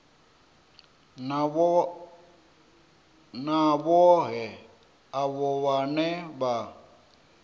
na vhohe avho vhane vha